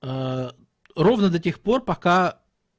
ровно до тех пор пока